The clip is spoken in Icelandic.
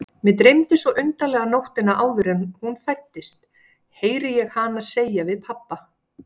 Mig dreymdi svo undarlega nóttina áður en hún fæddist, heyri ég hana segja við pabba.